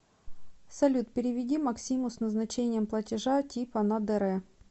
салют переведи максиму с назначением платежа типа на др